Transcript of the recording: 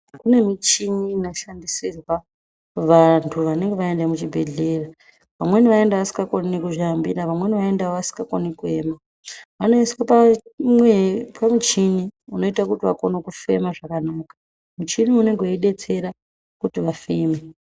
Kune muchini inoshandisirwa vantu vanenga vaenda muzvibhedhlera vamweni aenda asingakoni nekuzvihambira vamweni vasingakoni kuema vanoiswe pa mwee pamuchini unoite kuti vakone kuti vakone kufema zvakanaka muchini uyu unenge weidetsera kuti vafeme.